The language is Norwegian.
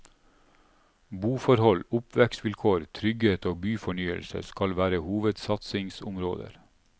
Boforhold, oppvekstvilkår, trygghet og byfornyelse skal være hovedsatsingsområder.